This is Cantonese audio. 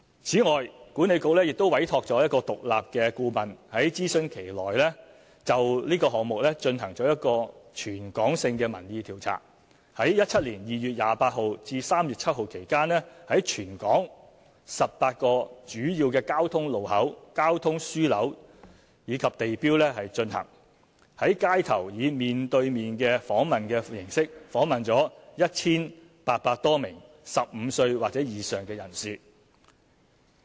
此外，管理局亦委託獨立顧問，在諮詢期內就這個項目進行一項全港性民意調查，於2017年2月28日至3月7日期間，在全港18個主要交通路口、交通樞紐及地標進行，在街頭以面對面訪問形式訪問了 1,800 多名15歲或以上人士。